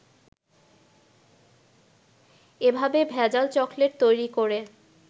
এভাবে ভেজাল চকলেট তৈরি করে